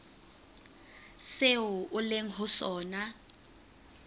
seo o leng ho sona